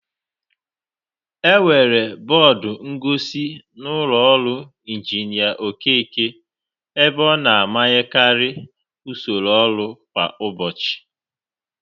Enwere bọọdụ ngosi n'ụlọ ọrụ Injinia Okeke, ebe ọ na-amanyekarị usoro ọrụ kwa ụbọchị.